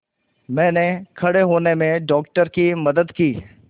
मैंने खड़े होने में डॉक्टर की मदद की